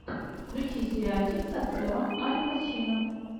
включи сериальчик с актером аль пачино